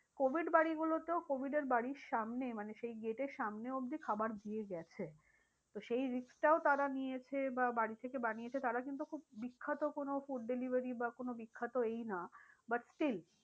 Covid বাড়ি গুলোতেও covid এর বাড়ির সামনে মানে সেই get এর সামনে মানে সেই get এর সামনে অবধি খাবার দিয়ে গেছে। তো সেই risk টাও তারা নিয়েছে বা বাড়ি থেকে বানিয়েছে তারা কিন্তু খুব বিখ্যাত কোনো food delivery বা কোনো বিখ্যাত এই না but still